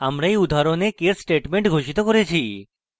আমরা এই উদাহরণে case statement ঘোষিত করেছি